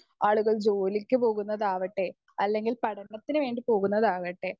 speaker 1 ആളുകൾ ജോലിക്ക് പോകുന്നതാവട്ടെ അല്ലെങ്കിൽ പഠനത്തിനുവേണ്ടി പോകുന്നതാവട്ടെ